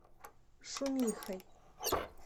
шумихой